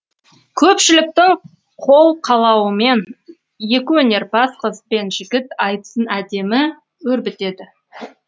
көпшіліктің қолқалауымен екіөнерпаз қыз бен жігіт айтысын әдемі өрбітеді